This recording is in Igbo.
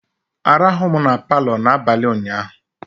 Arahụ m na Palọ n'abalị ụnyaahụ